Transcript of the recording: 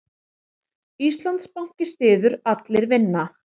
Íslandsbanki styður Allir vinna